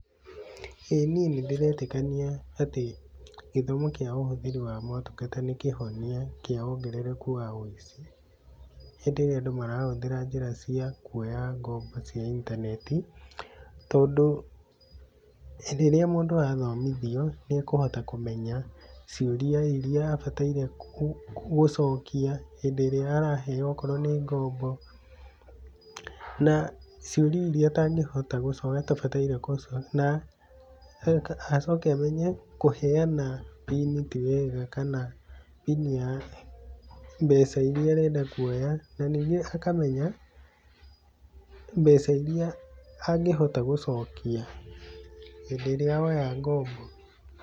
ĩĩ niĩ nĩndĩretĩkania atĩ gĩthomo kĩa ũhũthĩri wa motungata nĩ kĩhonia kĩa wongerereku wa wũici hĩndĩ ĩrĩa andũ marahũthĩra njĩra cia kuoya ngombo cia intaneti tondũ rĩrĩa mũndũ athomithio, nĩ akũhota kũmenya ciũria iria abataire gũcokia hĩndĩ ĩrĩa araheo okorwo nĩ ngombo na ciũria iria atangĩhota gũcokia, atabataire gũcokia, na acoke amenye kũheana pin ti wega kana pin ya mbeca iria arenda kuoya na ningĩ akamenya mbeca iria angĩhota gũcokia hĩndĩ ĩrĩa woya ngombo.